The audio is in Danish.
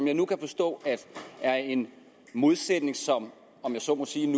jeg nu forstå er en modsætning som om jeg så må sige